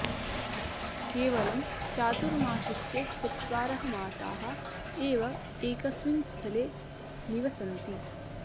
केवलं चातुर्मासस्य चत्वारः मासाः एव एकस्मिन् स्थले निवसन्ति